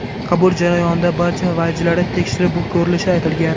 Qabul jarayonida barcha vajlari tekshirib ko‘rilishi aytilgan.